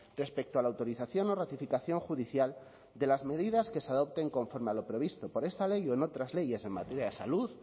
respecto a la autorización o ratificación judicial de las medidas que se adopten conforme a lo previsto por esta ley o en otras leyes en materia de salud